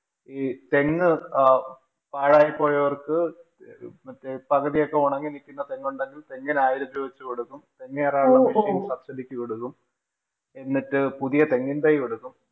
ഈ തെങ്ങ് പാഴായി പോയോര്‍ക്ക് പകുതിയൊക്കെ ഒണങ്ങി നില്‍ക്കുന്ന തെങ്ങുണ്ടെങ്കില്‍ തെങ്ങിന് ആയിരം രൂപ വച്ച് കൊടുക്കും. തെങ്ങ് കേറാനുള്ള machine subsidy ക്ക് കൊടുക്കും എന്നിട്ട് പുതിയ തെങ്ങിന്‍ തൈ കൊടുക്കും.